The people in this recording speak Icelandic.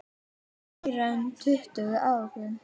Meira en tuttugu árum síðar.